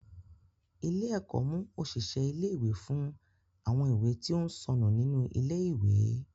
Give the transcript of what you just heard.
Ilé-ẹ̀kọ́ mú òṣìṣẹ́ ilé-ìwé fún àwọn ìwé tí ó ń sọnù nínú ilé-ìwé.